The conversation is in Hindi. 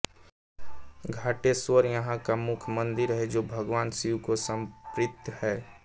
घाटेश्वर यहां का मुख्य मंदिर है जो भगवान शिव को समर्पित है